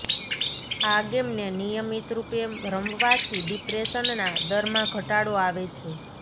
આ ગેમને નિયમિત રુપે રમવાથી ડિપ્રેશનના દરમાં ઘટાડો આવે છે